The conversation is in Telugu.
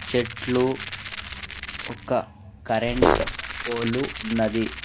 చెట్లు ఒక కరెంట్ పోలు ఉన్నది .